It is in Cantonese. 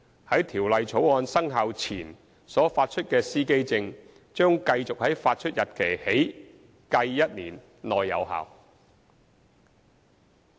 在《條例草案》生效前所發出的司機證，將繼續在發出日期起計1年內有效。